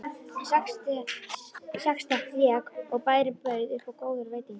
Sextett lék og bærinn bauð upp á góðar veitingar.